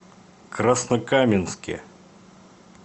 краснокаменске